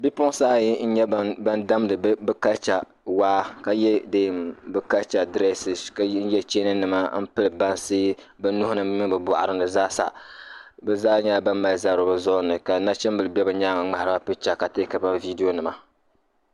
Bipuɣinsi ayi n-nya ban damdi bɛ kalicha waa ka ye deem bɛ kalicha direesisi ka ye cheeninima m-piri bansi bɛ nuhi ni mini bɛ bɔɣiri ni zaasa. Bɛ zaa nyɛla ban mali zabiri bɛ zuɣiri ni ka nachimbila be bɛ nyaaŋga ŋmahiri ba picha ka teekiri ba viidionima.